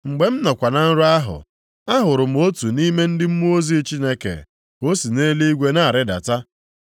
“Mgbe m nọkwa na-arọ nrọ ahụ, ahụrụ m otu nʼime ndị mmụọ ozi Chineke ka o si nʼeluigwe na-arịdata.